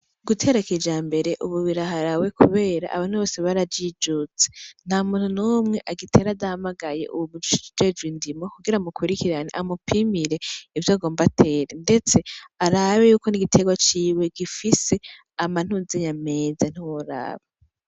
Gutera kijambere ubu biraharawe kubera abantu bose barajijutse. Ntamuntu numwe agitera adahamagaye uwujejwe indimo, kugira amukurikirane amupimire ivyo agomba atere ndetse arabe ko ni igiterwa ciwe gifise amantuzeya meza.